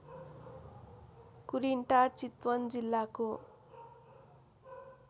कुरिनटार चितवन जिल्लाको